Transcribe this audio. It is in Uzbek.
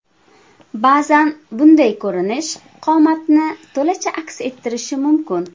Ba’zan bunday ko‘rinish qomatni to‘lacha aks ettirishi mumkin.